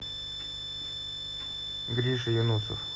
гриша юнусов